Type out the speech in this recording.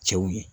Cɛw ye